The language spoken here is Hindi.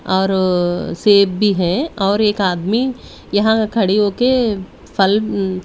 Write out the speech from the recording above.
और सेब भी है और एक आदमी यहां खड़ी होके फल--